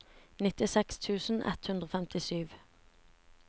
nittiseks tusen ett hundre og femtisju